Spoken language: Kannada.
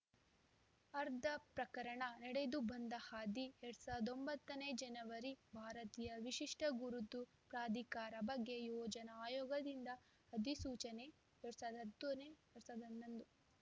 ಆರ್ಧ ಪ್ರಕರಣ ನಡೆದು ಬಂದ ಹಾದಿ ಎರಡ್ ಸಾವಿರದ ಒಂಬತ್ತನೇ ಜನವರಿ ಭಾರತೀಯ ವಿಶಿಷ್ಟಗುರುತು ಪ್ರಾಧಿಕಾರ ಬಗ್ಗೆ ಯೋಜನಾ ಆಯೋಗದಿಂದ ಅಧಿಸೂಚನೆ ಎರಡ್ ಸಾವಿರದ ಹತ್ತನೇ ಎರಡ್ ಸಾವಿರದ ಹನ್ನೊಂದು